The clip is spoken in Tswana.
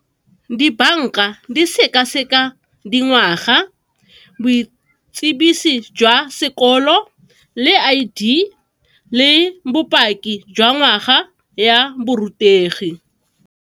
Dibanka di sekaseka dingwaga, boitsibiso jwa sekolo, le I_D le bopaki jwa ngwaga ya borutegi.